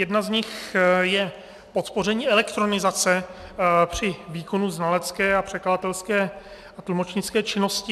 Jedna z nich je podpoření elektronizace při výkonu znalecké a překladatelské a tlumočnické činnosti.